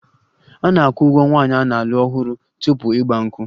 A na-akwụ ụgwọ nwaanyị a na-alụ ọhụrụ tupu 'Igba nkwu'?